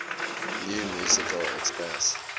new musical express